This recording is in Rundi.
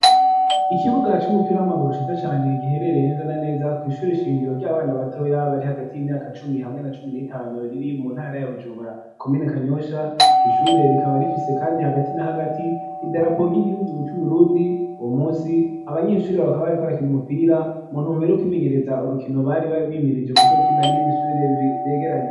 Ikibuga c'umupira w'amaguru shitza cane giherereye neza na neza kwishura ishiyingiro ry'abana batoya bari hagati y'imyaka cumi hamwe na cumi n'itanu riri mu ntara ya bujubura komene kanyosha igishure rikaba rifise, kandi hagati na hagati idarapogy'igihugu c'uburundi wo musi abanyeshuri bakabariko arakina umupira muntu mubere kwimenyereza urukino baribabe mirije kuzokina n'ibindi shubire biyegeranye.